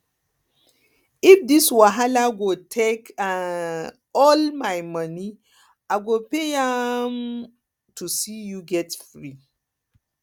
if this wahala go take um all um my monie i go pay am um to see you get free